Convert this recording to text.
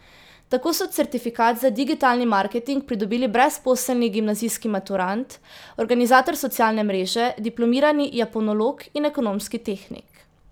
Tako so certifikat za digitalni marketing pridobili brezposelni gimnazijski maturant, organizator socialne mreže, diplomirani japonolog in ekonomski tehnik.